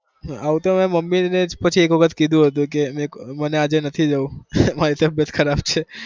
આવું તો મેં મમ્મી ને જ પછી એક વખત કીધું હતું કે મેં મને આજે નથી જવું મારી તબિયત ખરાબ છે.